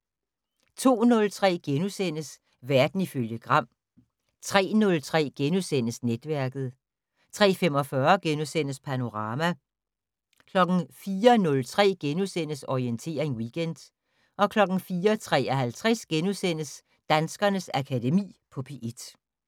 02:03: Verden ifølge Gram * 03:03: Netværket * 03:45: Panorama * 04:03: Orientering Weekend * 04:53: Danskernes Akademi på P1 *